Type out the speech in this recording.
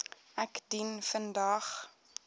ek dien vandag